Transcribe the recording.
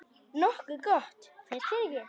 Nokkuð gott, finnst þér ekki?